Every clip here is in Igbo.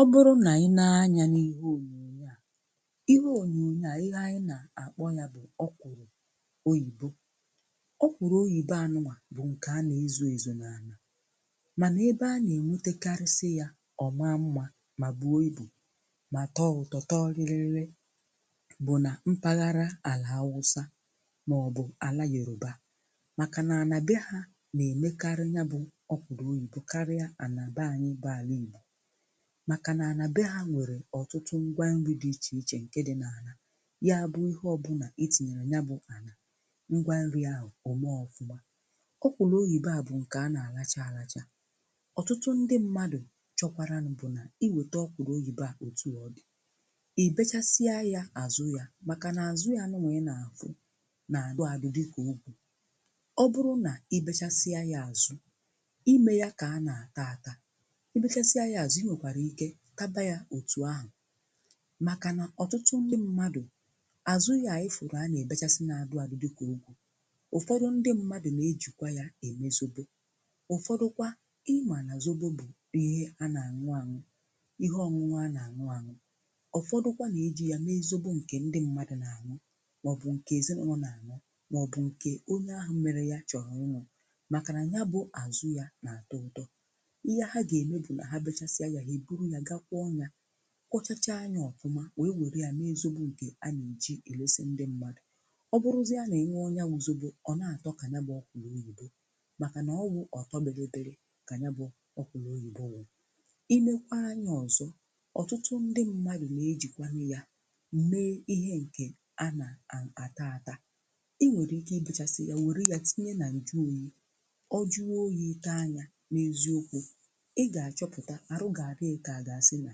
Ọ bụrụ nà ànyị na-anya n’ihe ònyònyo à, ihe ònyònyo à, ihe ànyị nà-akpọ yà bụ ọkwụlụ oyìbo. Ọkwụlụ oyìbo anụ à bụ ǹkè a nà-ezù ezù n’anà, mànà ebe a nà-enwetakarịsị yà ọma mma mà bụọ ibụ mà tọọ ụtọ, tọọ rịrịrịrị bụ nà mpaghara àlà Awụsa mà ọ bụ àlà Yòrùbà màkà nà-àna be ha nà-emekarị yabụ ọkwụlụ oyìbo karịa ànà bịanyị bụ àlà igbo màkà na-ana bẹ ha nwere ọ̀tụtụ ngwa nrì dị iche iche nke dị n’ana yabụ ihe ọ bụ na etinyere yabụ anà ngwa nrì ahụ ọme ọfụma. Ọkwụlụ oyìbo à bụ ǹkè a na-alachaa àlachaa. Ọ̀tụtụ ndị mmadụ chọkwarànụ bụ na i wète ọkwụlụ oyìbo à otù ọ dị, ị bechasịa ya azụ ya màkà na-azụ ya nụwa ị na-afụ na-adụ adụ dịka ọgwu. Ọ bụrụ nà ị bechasịa ya azụ, imeya ka a na-ata ata, ị bechasịa ya azụ, i nwekwara taba ya otù ahụ màkà nà ọ̀tụtụ ndị mmadụ, azụ ya ị fụrụ a na-ebechasị na-adụ adụ dịkà ọgwu. Ụfọdụ ndị mmadụ na-ejikwa ya eme zobo; ụfọdụkwa i mana zobo bụ ihe a na-aṅụ aṅụ, ihe ọṅụṅụ a na-aṅụ aṅụ. Ụfọdụkwa na-eji ya mee zobo nke ndị mmadụ na-aṅụ mà ọ bụ nke ezinaụlọ na-aṅụ mà ọ bụ nke onye ahụ mmerè ya chọrọ ụnụ màkà na yabụ azụ ya na-atọ ụtọ. ihe ha ga-eme bụ na ha bechasịa ya, ha ebụrụ ya ga kwọ ya, kwọchachà ya ọfụmà wee nwere ya mee zobo nke a na-eji elesi ndị mmadụ. Ọ bụrụzi a n'ịṅụ yabụ zobo, ọ na-atọ ka yabụ ọkwụlụ oyìbo màkà na ọwụ ọtọbilibili ka yabụ ọkwụlụ oyìbo wụ. i nekwa anya ọzọ, ọ̀tụtụ ndị mmadụ na-ejikwanụ ya mee ihe nke a na-a, ata ata; i nwere ike ibechasì ya nwere ya tinye na njụ oyì, ọ jụọ oyì, ịta ya n’eziokwù, ị ga-achọpụta, arụ ga-adigi ka aga si na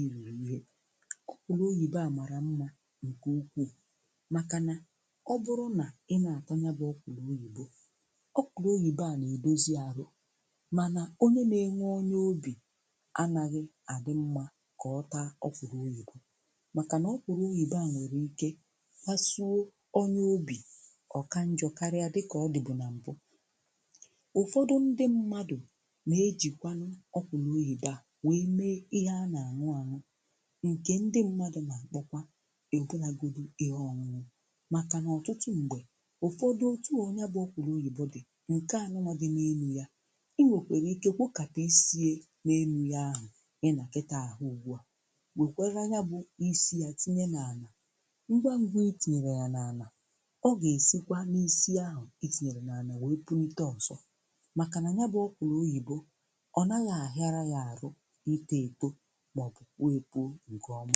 iriri ihe. Ọkwụlụ oyìbo a màrà mma nke ukwuu màkà nà ọ bụrụ nà ị na-ata yabụ ọkwụlụ oyìbo, ọkwụlụ oyìbo a na-edozi arụ, mànà onye na-enwe onye obì anaghị àdị mma kà ọta ọkwụlụ oyìbo màkà nà ọkwụlụ oyìbo a nwere ike fasụọ onye obì, ọ kanjọ karịa dịkà ọ dị bụ nà m̀bụ. Ụfọdụ ndị mmadụ na-ejìkwanụ ọkwụlụ oyìbo a nwe mee ihe ana-aṅụ aṅụ nke ndị mmadụ nà-akpọkwa ikpolàgodu ihe ọṅụṅụ màkà nà ọ̀tụtụ m̀gbè, ụfọdụ, otù a yabụ ọkwụlụ oyìbo dị nke a nụwa dị n’enụ yà, i nwèkwèrè ike kwokàtà isiè n’enụ yà ahụ, ị nà kịtà ahụ ugbù à, bekwara yabụ isie tinye n’anà ngwa ngwa itinyèrè yà n’anà, ọ gà-esikwa n’isi ahụ itinyèrè n’anà wee pụnịte ọzọ màkà nà yabụ ọkwụrụ oyìbo, ọ nagha ahịra ya ahụ itọ etọ mà ọ bụ pụọ e pụọ ǹke ọma.